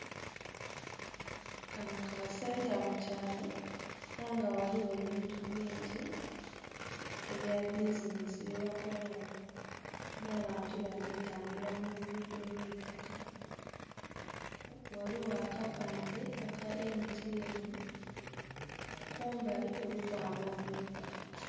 Kano ka senta mu kyaalo, era nga ghaligho ebintu bingi, ebya bizinesi byebakola wo. N'abantu bali tambula mu lugudho olw'eitaka. Ghaligho akapande aka MTN. Kumbali kuliku amaduuka.